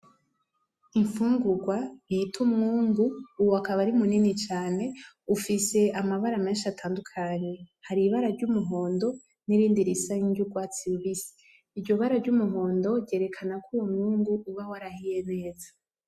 Imfungurwa bita umwungu uwo akaba ari munini cane ,ufise amabara menshi atandukanye hari ibara ry'umuhondo, nirindi risa niry'urwatsi rubisi, iryo bara ry'umuhondo ryerekana kuwo mwungu uba warahiye neza.